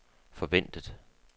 forventet